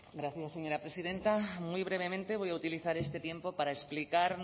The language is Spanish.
gracias señora presidenta muy brevemente voy a utilizar este tiempo para explicar